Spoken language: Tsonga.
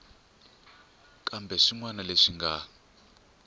kumbe swin wana leswi nga